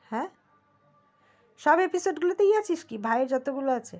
হ্যা সব episode গুলোতেই আছিস কি ভাইয়ের যত গুলো আছে